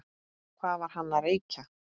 Hvað var hann að reykja?